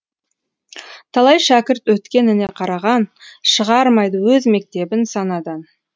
талай шәкірт өткеніне қараған шығармайды өз мектебін санадан